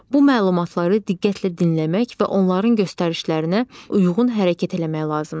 Bu məlumatları diqqətlə dinləmək və onların göstərişlərinə uyğun hərəkət etmək lazımdır.